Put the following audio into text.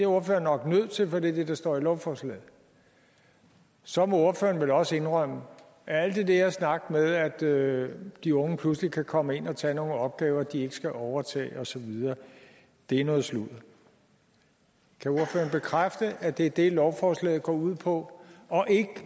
ordføreren nok nødt til for det er det der står i lovforslaget så må ordføreren vel også indrømme at al den der snak med at de unge pludselig kan komme ind og tage nogle opgaver de ikke skal overtage osv er noget sludder kan ordføreren bekræfte at det er det lovforslaget går ud på og ikke